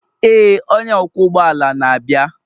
ee onye ọkwọ ụgbọ ala na-abịa.